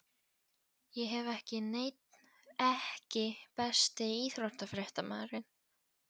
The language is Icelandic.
Ég hef ekki neinn EKKI besti íþróttafréttamaðurinn?